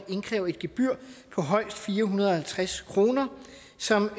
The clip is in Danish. indkræve et gebyr på højst fire hundrede og halvtreds kr som